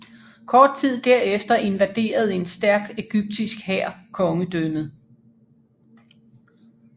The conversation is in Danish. Kort tid derefter invaderede en stærk egyptisk hær kongedømmet